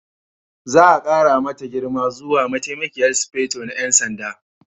Za a ƙara mata girma zuwa Mataimakiyar Sufeto na 'Yan Sanda.